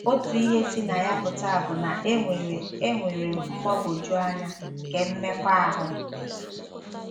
Otu ihe si na ya pụta bụ na enwere enwere m mgbagwoju anya nke mmekọahụ.